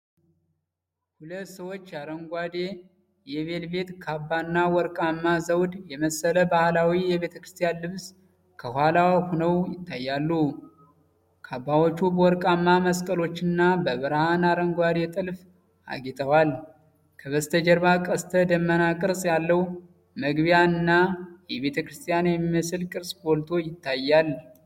ሁለት ሰዎች አረንጓዴ የቬልቬት ካባና ወርቃማ ዘውድ የመሰለ ባህላዊ የቤተክርስቲያን ልብስ ከኋላ ሆነው ይታያሉ። ካባዎቹ በወርቃማ መስቀሎችና በብርሃን አረንጓዴ ጥልፍ አጌጠዋል። ከበስተጀርባ ቀስተ ደመና ቅርጽ ያለው መግቢያ እና ቤተክርስቲያን የሚመስል ሕንፃ ጎልቶ ይታያል።